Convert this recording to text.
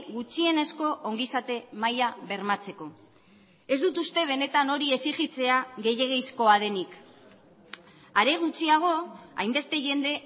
gutxienezko ongizate maila bermatzeko ez dut uste benetan hori exijitzea gehiegizkoa denik are gutxiago hainbeste jende